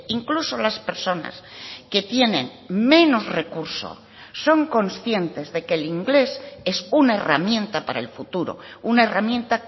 incluso las personas que tienen menos recursos son conscientes de que el inglés es una herramienta para el futuro una herramienta